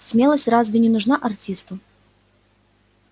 смелость разве не нужна артисту